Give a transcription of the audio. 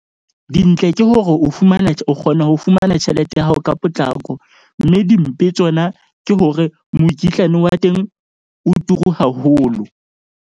Dintle ke hore o fumana, o kgona ho fumana tjhelete ya hao ka potlako. Mme dimpe tsona ke hore mokitlane wa teng o turu haholo.